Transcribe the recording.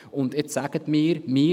Und jetzt sagen Sie mir: